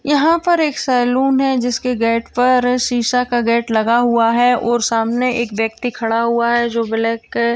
यहाँ पर एक सेलून है जिसके गेट पर शीशा का गेट लगा हुआ है और सामने एक व्यक्ति खड़ा हुआ है जो ब्लैक --